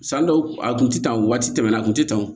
San dɔw a kun tɛ tan o waati tɛmɛn na a kun tɛ tan